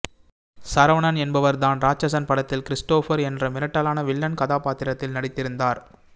சரவணன் என்பவர் தான் ராட்சசன் படத்தில் கிறிஸ்டோபர் என்ற மிரட்டலான வில்லன் கதாபாத்திரத்தில் நடித்திருந்தார்